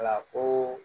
Wala ko